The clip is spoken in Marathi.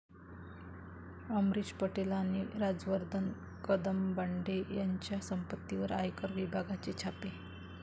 अमरीश पटेल आणि राजवर्धन कदमबांडे यांच्या संपत्तीवर आयकर विभागाचे छापे